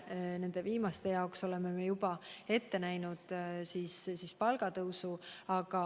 Viimaste jaoks olemegi juba palgatõusu ette näinud.